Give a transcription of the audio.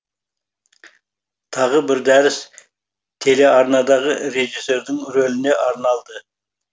тағы бір дәріс телеарнадағы режиссердің рөліне арналды